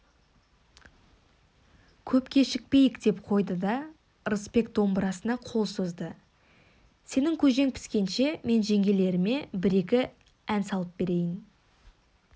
көп кешікпейік деп қойды да ырысбек домбырасына қол созды сенің көжең піскенше мен жеңгелеріме бір-екі ән салып берейін